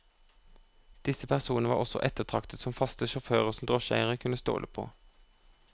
Disse personene var også ettertraktet som faste sjåfører som drosjeeierne kunne stole på.